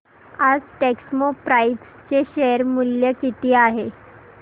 आज टेक्स्मोपाइप्स चे शेअर मूल्य किती आहे